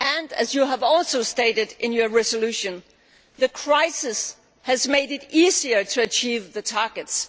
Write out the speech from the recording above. As you also stated in your resolution, the crisis has made it easier to achieve the targets.